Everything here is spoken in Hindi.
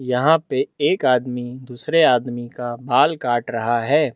यहाँ पे एक आदमी दूसरे आदमी का बाल काट रहा है।